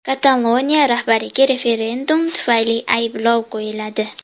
Kataloniya rahbariga referendum tufayli ayblov qo‘yiladi.